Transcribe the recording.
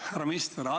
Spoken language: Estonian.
Härra minister!